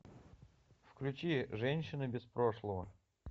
включи женщина без прошлого